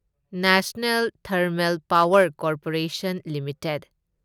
national thermal power corporation limited